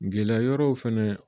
Gɛlɛya wɛrɛw fɛnɛ